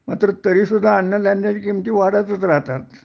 मात्र तरी सुद्धा अन्नधान्याच्या किमती वाढतच राहतात